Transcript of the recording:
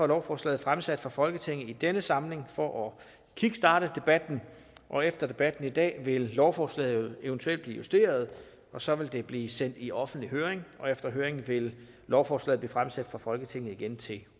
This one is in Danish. lovforslaget fremsat for folketinget i denne samling for at kickstarte debatten og efter debatten i dag vil lovforslaget eventuelt blive justeret og så vil det blive sendt i offentlig høring og efter høringen vil lovforslaget blev fremsat for folketinget igen til